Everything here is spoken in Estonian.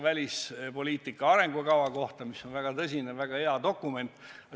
Välispoliitika arengukava on väga tõsine, väga hea dokument.